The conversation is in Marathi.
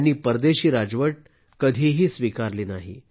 त्यांनी परदेशी राजवट कधीही स्वीकारली नाही